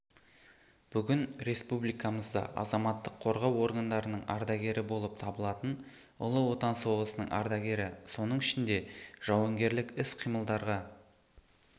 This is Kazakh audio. бүгін республикамызда азаматтық қорғау органдарының ардагері болып табылатын ұлы отан соғысының ардагері соның ішінде жауынгерлік іс-қимылдарға